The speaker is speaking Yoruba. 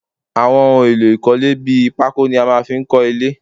Àwọn ohun èlò ilẹ́ bí pako ni a máa ń fi nkọ ilé